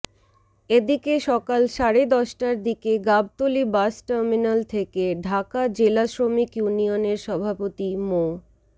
এদিকে সকাল সাড়ে দশটার দিকে গাবতলী বাস টার্মিনাল থেকে ঢাকা জেলা শ্রমিক ইউনিয়নের সভাপতি মো